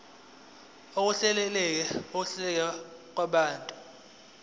ukuhleleka kokuhlala kwabantu